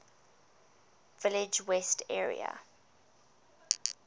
village west area